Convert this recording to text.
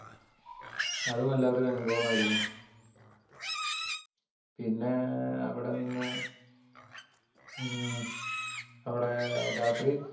അ തും അനുഭവമായിരുന്നു പിന്നെ അവട ന്ന് മ്മ് അവടെ ഏർ രാത്രി